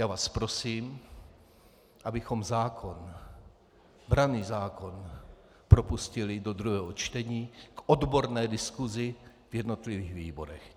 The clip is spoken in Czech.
Já vás prosím, abychom zákon, branný zákon propustili do druhého čtení k odborné diskusi v jednotlivých výborech.